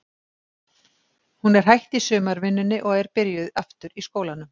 Hún er hætt í sumarvinnunni og er byrjuð aftur í skólanum.